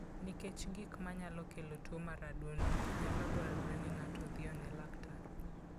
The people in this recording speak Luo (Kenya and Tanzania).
Nikech gik manyalo kelo tuwo mar adundo, nyalo dwarore ni ng'ato odhi one laktar.